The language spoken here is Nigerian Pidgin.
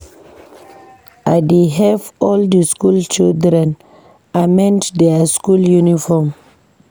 I dey help all di skool children amend their school uniform.